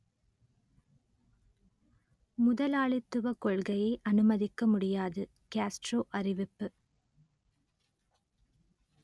முதலாளித்துவக் கொள்கையை அனுமதிக்க முடியாது காஸ்ட்ரோ அறிவிப்பு